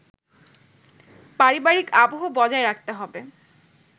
পারিবারিক আবহ বজায় রাখতে হবে